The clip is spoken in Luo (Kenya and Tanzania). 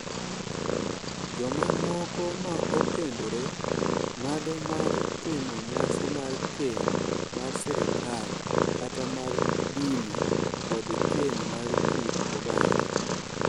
Jomamoko ma okendore ng’ado mar timo nyasi mar keny mar sirkal kata mar dini, kod keny mar kit oganda.